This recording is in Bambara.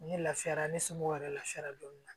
Ni lafiyara ne somɔgɔw yɛrɛ lafiyara don min na